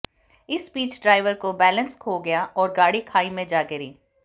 इस बीच ड्राइवर को बैलेंस खो गया और गाड़ी खाई में जा गिरी